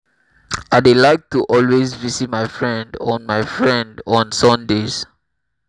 i dey like to always visit my friend on my friend on sundays